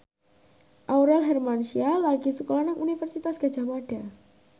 Aurel Hermansyah lagi sekolah nang Universitas Gadjah Mada